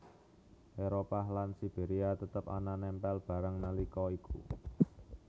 Éropah lan Siberia tetep ana nempel bareng nalika iku